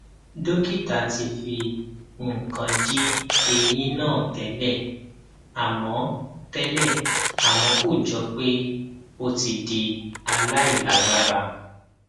dókítà ti fi nǹkan di eyín náà tẹlẹ àmọ tẹlẹ àmọ kò jọ pé ó ti di aláìlágbára